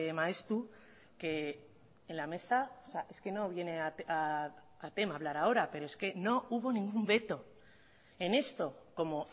maeztu que en la mesa es que no viene al tema hablar ahora pero es que no hubo ningún veto en esto como